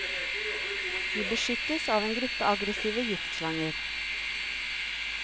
De beskyttes av en gruppe aggressive giftslanger.